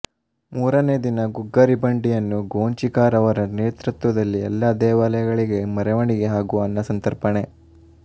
ಮೂರನೇ ದಿನ ಗುಗ್ಗರಿ ಬಂಡಿಯನ್ನು ಗೋಂಚಿಕಾರ್ ರವರ ನೇತೃತ್ವದಲ್ಲಿ ಏಲ್ಲಾ ದೇವಾಲಯ ಗಳಿಗೆ ಮೆರವಣಿಗೆ ಹಾಗೂ ಅನ್ನಸಂತರ್ಪಣೆ